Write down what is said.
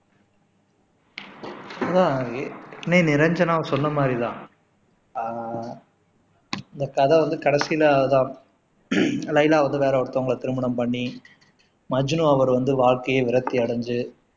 ஆஹ் நிரஞ்சனா சொன்ன மாதிரி தான் ஆஹ் அந்த கதை வந்து கடைசியில அதான் லைலா வந்து வேற ஒருத்தவங்களை திருமணம் பண்ணி மஜ்னு அவர் வந்து வாழ்க்கையே விரக்தி அடைஞ்சு